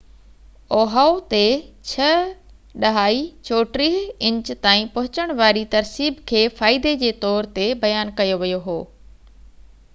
Ohio تي 6.34 inch تائين پهچڻ واري ترسيب کي فائدي جي طور تي بيان ڪيو ويو هو